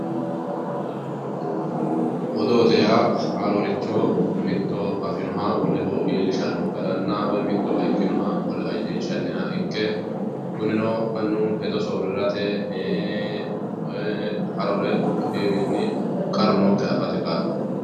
Odoote yaa haaroricho mitu afinoha woleho iillishano garanna woyi mittowa ikkinoha wolewa iillinshanniha ikke kunino mannu hedo soorirate haarore ku"u koiwinni qarru nookkiha affate kaa'lano.